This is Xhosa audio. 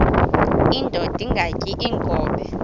indod ingaty iinkobe